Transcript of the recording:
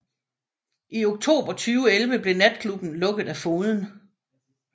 I oktober 2011 blev natklubben lukket af fogeden